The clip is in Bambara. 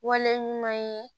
Wale ɲuman ye